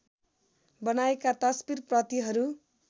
बनाएका तस्बीर प्रतिहरू